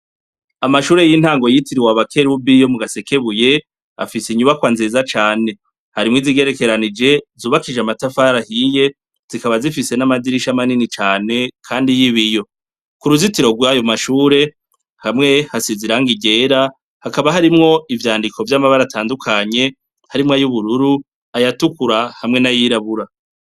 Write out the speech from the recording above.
Amashure y'intango yitiriwe aba kelubiyo mu gasekebuye afise inyubakwa nzeza cane harimwo izigerekeranije zubakije amatafarahiye zikaba zifise n'amadirisha manini cane, kandi y'ibiyo ku ruzitiro rwayo mashure hamwe hasiziranga igera hakaba harimwo ivyandiko vy'amabara atandukanye harimwo ay'ubururu ayatukura hamwe n'a yirabura.